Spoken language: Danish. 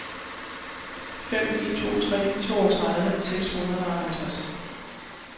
fem ni to tre toogtredive seks hundrede og halvtreds